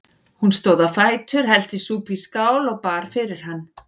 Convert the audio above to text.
Hún stóð á fætur, hellti súpu í skál og bar fyrir hann.